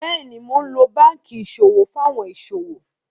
Bẹ́ẹ̀ni, ḿó lọ̀ bankí iṣọwọ̀ fún awọn iṣọwọ̀.